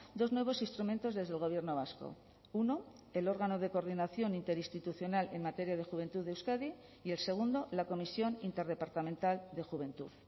dos nuevos instrumentos desde el gobierno vasco uno el órgano de coordinación interinstitucional en materia de juventud de euskadi y el segundo la comisión interdepartamental de juventud